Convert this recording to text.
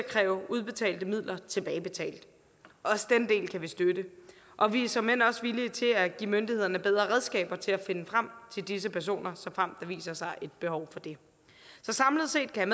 kræve udbetalte midler tilbagebetalt også den del kan vi støtte og vi er såmænd også villige til at give myndighederne bedre redskaber til at finde frem til disse personer såfremt der viser sig et behov for det så samlet set kan